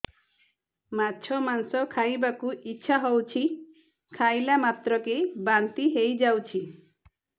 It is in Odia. ମାଛ ମାଂସ ଖାଇ ବାକୁ ଇଚ୍ଛା ହଉଛି ଖାଇଲା ମାତ୍ରକେ ବାନ୍ତି ହେଇଯାଉଛି